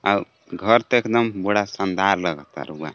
अव घर त एकदम बड़ा शानदार लगता रउआ।